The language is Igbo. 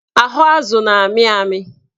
Ahụ azụ na-amị amị